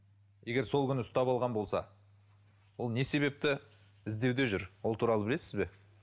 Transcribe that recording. егер сол күні ұстап алған болса ол не себепті іздеуде жүр ол туралы білесіз бе